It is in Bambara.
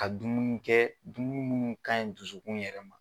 Ka dumuni kɛ dumuni munnu ka ɲi dusukun yɛrɛ ma.